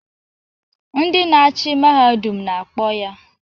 Ndị na-achị Mahadum na-akpọ ya!